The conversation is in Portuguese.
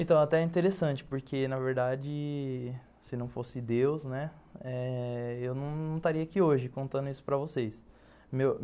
Então, até é interessante, porque, na verdade, se não fosse Deus, né, eu não estaria aqui hoje contando isso para vocês. Meu